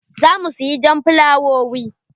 Za mu siya jan fulawowi.